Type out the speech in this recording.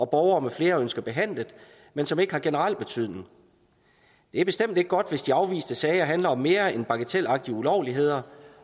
borgere med flere ønsker behandlet men som ikke har generel betydning det er bestemt ikke godt hvis de afviste sager handler om mere end bagatelagtige ulovligheder